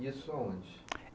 E isso aonde?